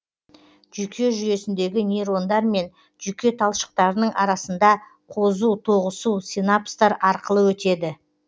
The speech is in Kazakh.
жүйке жүйесіндегі нейрондар мен жүйке талшықтарының арасында қозу тоғысу синапстар арқылы өтеді